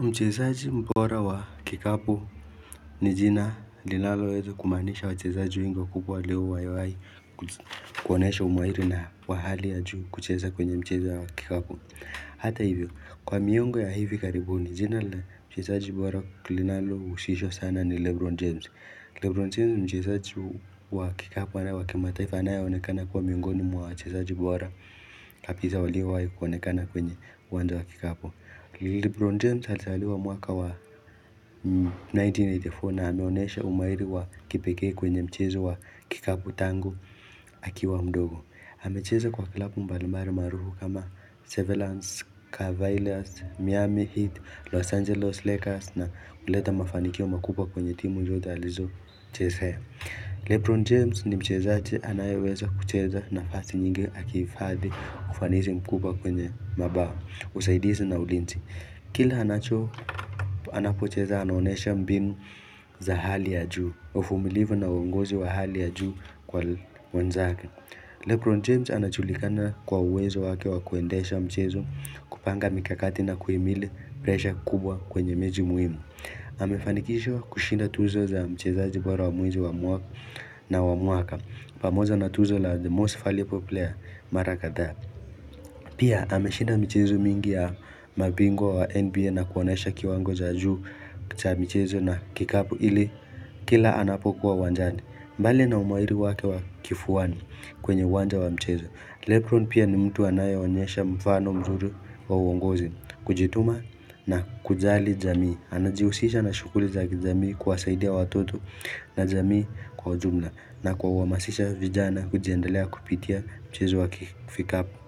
Mchezaji mbora wa kikapu ni jina linaloweza kumaanisha wachezaji wengi wakubwa leo waliwahi ku, kuonyesha umahiri na wa hali ya juu kucheza kwenye mchezo wa kikapu Hata hivyo, kwa miyongo ya hivi karibuni jina la mchezaji bora linalohusishwa sana ni Lebron James Lebron James ni mchezaji wa kikapu na wa kimataifa anayeonekana kuwa miongoni mwa wachezaji bora kabisa waliowahi kuonekana kwenye uwanja wa kikapu Lebron James alizaliwa mwaka wa 1984 na ameoneshe umahiri wa kipekee kwenye mchezo wa kikapu tangu akiwa mdogo. Amecheza kwa klabu mbalambali maarufu kama Severance, Cavaliers, Miami Heat, Los Angeles Lakers na kuleta mafanikio makubwa kwenye timu zote alizo chezea Lebron James ni mchezaji anayeweza kucheza nafasi nyingi akihifadhi ufanisi mkubwa kwenye mabao, usaidizi na ulinzi Kila anacho, anapocheza anaonyesha mbinu za hali ya juu, uvumilivu na uongozi wa hali ya juu kwa wenzake Lebron James anajulikana kwa uwezo wake wa kuendesha mchezo kupanga mikakati na kuhimili pressure kubwa kwenye mechi muhimu Amefanikishwa kushinda tuzo za mchezaji bora wa mwezi wa mwaka, na wa mwaka pamoja na tuzo la the most valuable player mara kadhaa Pia, ameshinda mchezo mingi ya mabingwa wa NBA na kuonyesha kiwango cha juu cha michezo na kikapu ili kila anapokuwa uwanjani mbali na umahiri wake wa kifuani kwenye uwanja wa mchezo, Lebron pia ni mtu anayeonyesha mfano mzuri wa uongozi, kujituma na kujali jamii. Anajihusisha na shughuli za kijamii kuwasaidia watoto na jamii kwa ujumla na kwa uhamasisha vijana kujiendelea kupitia mchezo wa ki vikapu